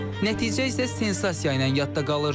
Nəticə isə sensasiya ilə yadda qalır.